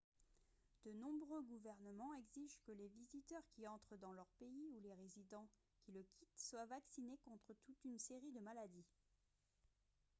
de nombreux gouvernements exigent que les visiteurs qui entrent dans leur pays ou les résidents qui le quittent soient vaccinés contre toute une série de maladies